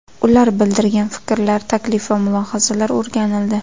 Ular bildirgan fikrlar, taklif va mulohazalar o‘rganildi.